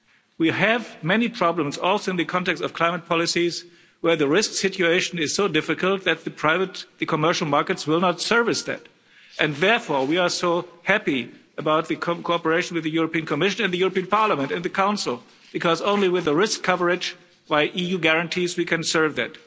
We have many problems also in the context of climate policies where the risk situation is so difficult that the commercial markets will not service that and, therefore, we are so happy about the cooperation with the European Commission and the European Parliament and the Council because only with the risk coverage by EU guarantees we can serve it.